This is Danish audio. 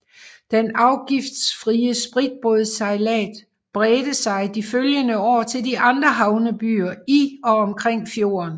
Den afgiftsfrie spritbådssejlads bredte sig de følgende år til de andre havnebyer i og omkring fjorden